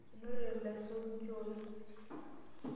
Enotore oloisuuj nchooi.